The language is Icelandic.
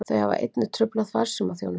Þau hafa einnig truflað farsímaþjónustu